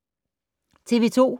TV 2